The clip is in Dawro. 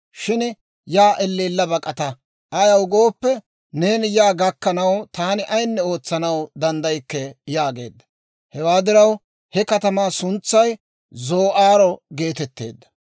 Shin yaa elleella bak'ata; ayaw gooppe, neeni yaa gakkanaw, taani ayinne ootsanaw danddaykke» yaageedda. Hewaa diraw he katamaa suntsay zoo'aaro geetetteedda.